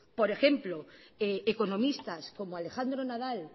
por ejemplo economistas como alejandro nadal